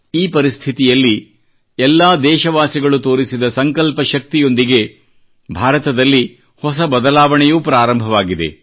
ಈ ಪರಿಸ್ಥಿತಿಯಲ್ಲಿ ಎಲ್ಲಾ ದೇಶವಾಸಿಗಳು ತೋರಿಸಿದ ಸಂಕಲ್ಪ ಶಕ್ತಿಯೊಂದಿಗೆ ಭಾರತದಲ್ಲಿ ಹೊಸ ಬದಲಾವಣೆಯೂ ಪ್ರಾರಂಭವಾಗಿದೆ